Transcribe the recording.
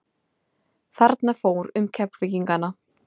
Þarna fór um Keflvíkingana.